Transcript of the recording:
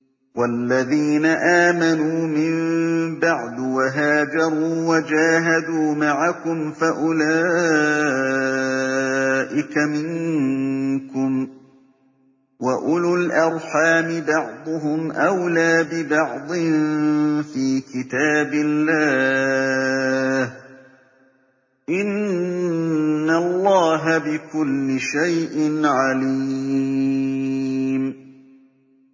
وَالَّذِينَ آمَنُوا مِن بَعْدُ وَهَاجَرُوا وَجَاهَدُوا مَعَكُمْ فَأُولَٰئِكَ مِنكُمْ ۚ وَأُولُو الْأَرْحَامِ بَعْضُهُمْ أَوْلَىٰ بِبَعْضٍ فِي كِتَابِ اللَّهِ ۗ إِنَّ اللَّهَ بِكُلِّ شَيْءٍ عَلِيمٌ